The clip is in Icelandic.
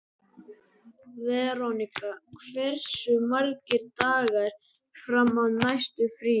Veronika, hversu margir dagar fram að næsta fríi?